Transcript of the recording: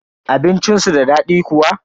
Abincin su da daɗi kuwa?